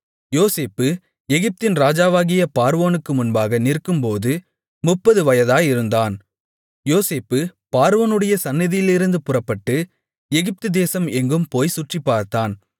யோசேப்பு எகிப்தின் ராஜாவாகிய பார்வோனுக்கு முன்பாக நிற்கும்போது முப்பது வயதாயிருந்தான் யோசேப்பு பார்வோனுடைய சந்நிதியிலிருந்து புறப்பட்டு எகிப்துதேசம் எங்கும் போய்ச் சுற்றிப்பார்த்தான்